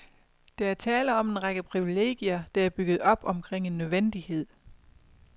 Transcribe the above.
Der er tale om en række privilegier, der er bygget op omkring en nødvendighed.